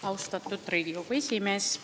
Austatud Riigikogu esimees!